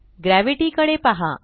gravity कडे पहा